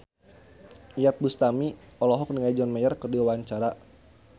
Iyeth Bustami olohok ningali John Mayer keur diwawancara